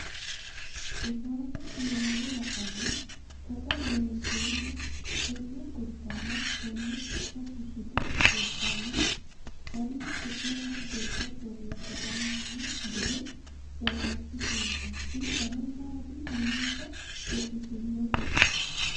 Rosaano niwaawe la’anni Taqa Loonseemmo tonne gurdanna tonne su’ma fushshite Rosaano, hanni su’manna gurda borreessitanno gede jawaachishinsa insano maati minesa woxitinohu?